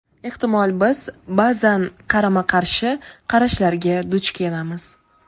Ehtimol, biz [ba’zan] qarama-qarshi qarashlarga duch kelamiz.